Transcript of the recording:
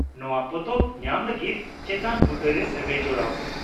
ᱱᱚᱣᱟ ᱯᱚᱛᱚᱵ ᱧᱟᱢ ᱞᱟᱹᱜᱤᱫ ᱪᱮᱛᱟᱱ ᱵᱩᱴᱟᱹᱨᱮ ᱥᱟᱹᱜᱟᱹᱭ ᱡᱚᱲᱟᱣ ᱯᱮ ᱾